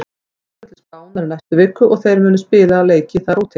Við förum til Spánar í næstu viku og þeir munu spila leiki þar úti.